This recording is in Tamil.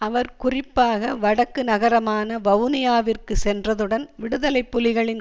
அவர் குறிப்பாக வடக்கு நகரமான வவுனியாவிற்கு சென்றதுடன் விடுதலை புலிகளின்